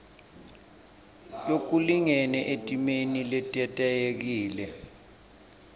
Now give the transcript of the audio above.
lokulingene etimeni letetayelekile